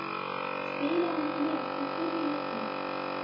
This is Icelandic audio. Spilaði hann með í fyrri leiknum?